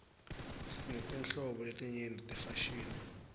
sinetinhlobo letinyenti tefashini